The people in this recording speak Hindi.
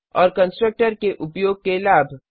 और कंस्ट्रक्टर के उपयोग के लाभ